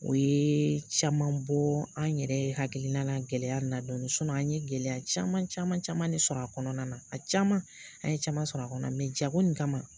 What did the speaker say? O ye caman bɔ an yɛrɛ hakilina na gɛlɛya na dɔn an ye gɛlɛya caman caman caman de sɔrɔ a kɔnɔna na a caman an ye caman sɔrɔ a kɔnɔna na jago in kama